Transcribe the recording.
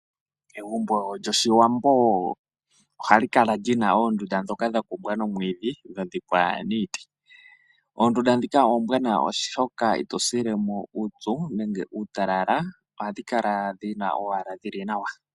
Egumbo lyOshiwambo ohali kala li na oondunda ndhoka dha kumbwa nomwiidhi, dho odha dhikwa niiti. Oondunda ndhika oombwanawa, oshoka ito sile mo uupyu nenge uutalala, ohadhi kala owala dhi na ombepo yi li nawa.